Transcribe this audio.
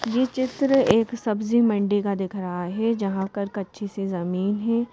ये चित्र एक सब्जी मंडी का दिख रहा है जहां पर कच्ची सी जमीन है।